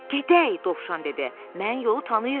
Gedək, Dovşan dedi, mən yolu tanıyıram.